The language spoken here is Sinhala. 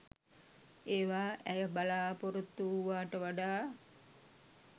ඒවා ඇය බලාපොරොත්තු වූවාට වඩා